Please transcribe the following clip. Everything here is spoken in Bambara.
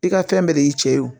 I ka fɛn bɛɛ de y'i cɛ ye o